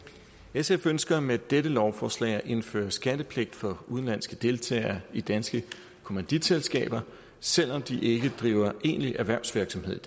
sf ønsker med dette lovforslag at indføre skattepligt for udenlandske deltagere i danske kommanditselskaber selv om de ikke driver egentlig erhvervsvirksomhed